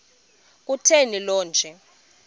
kutheni le nto